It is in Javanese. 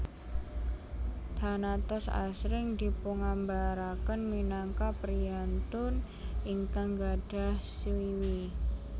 Thanatos asring dipungambaraken minangka priyantun ingkang gadhah swiwi